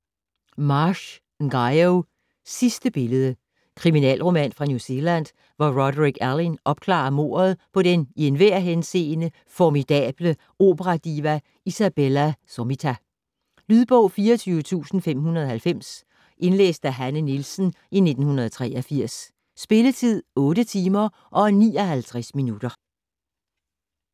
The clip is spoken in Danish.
Marsh, Ngaio: Sidste billede Kriminalroman fra New Zealand, hvor Roderick Alleyn opklarer mordet på den i enhver henseende formidable opera-diva Isabella Sommita. Lydbog 24590 Indlæst af Hanne Nielsen, 1983. Spilletid: 8 timer, 59 minutter.